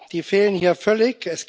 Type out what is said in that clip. Die fehlen hier völlig.